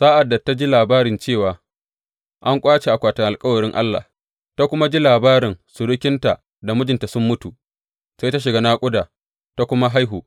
Sa’ad da ta ji labari cewa an ƙwace akwatin alkawarin Allah, ta kuma labarin surukinta da mijinta sun mutu, sai ta shiga naƙuda, ta kuma haihu.